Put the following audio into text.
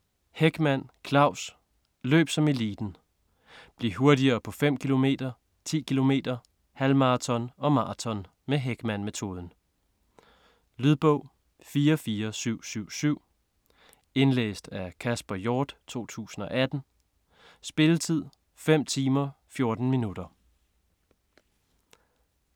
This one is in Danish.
Hechmann, Claus: Løb som eliten: bliv hurtigere på 5 km, 10 km, halvmaraton og maraton med Hechmann-metoden Lydbog 44777 Indlæst af Kasper Hjort, 2018. Spilletid: 5 timer, 14 minutter.